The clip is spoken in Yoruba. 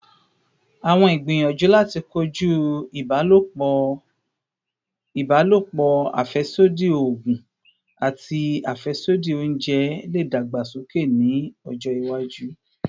Awọn igbiyanju lati koju ibalopọ ibalopo, afẹsodi oogun, ati afẹsodi ounjẹ le dagbasoke ni ọjọ iwaju